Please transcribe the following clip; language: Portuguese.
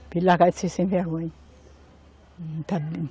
Para ele largar de ser sem vergonha.